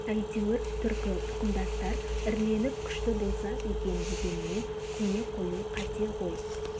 әйтеуір түркі тұқымдастар іріленіп күшті болса екен дегеніне көне қою қате ғой